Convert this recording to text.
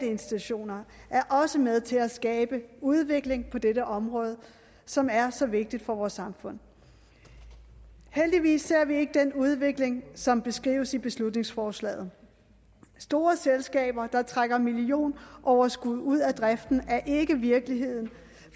institutioner er også med til at skabe udvikling på dette område som er så vigtigt for vores samfund heldigvis ser vi ikke den udvikling som beskrives i beslutningsforslaget store selskaber der trækker millionoverskud ud af driften er ikke virkeligheden